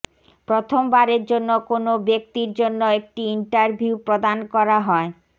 প্রথমবারের জন্য কোনও ব্যক্তির জন্য একটি ইন্টারভিউ প্রদান করা হয়